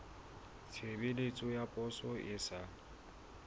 tshebeletso ya poso e sa